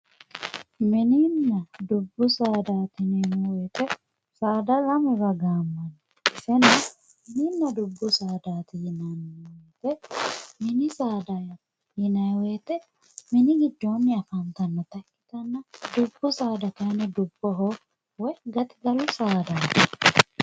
Mininna dubbu saadati yineemmo woyte saada lamewa gaamanni ,mininna dubbu saadati yinanni mini saadati yinanni woyte mini giddoni afantanotta ikkittanna dubbu saada kayinni dubboho coyi gaxigalu saadati